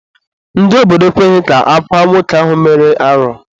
Ndị obodo ekweghị ka akwaa nwoke ahụ mere arụ.